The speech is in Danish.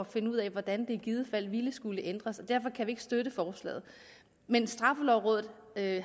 finde ud af hvordan det i givet fald ville skulle ændres og derfor kan vi ikke støtte forslaget men straffelovrådet